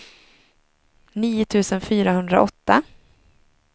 nio tusen fyrahundraåtta